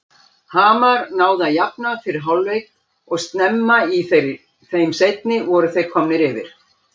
Hamar náði að jafna fyrir hálfleik og snemma í þeim seinni voru þeir komnir yfir.